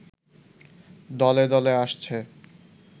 দলে দলে আসছে